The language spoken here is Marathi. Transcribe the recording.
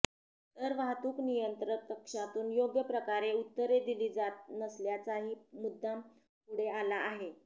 तर वाहतूक नियंत्रक कक्षातून योग्य प्रकारे उत्तरे दिली जात नसल्याचाही मुद्दा पुढे आला आहे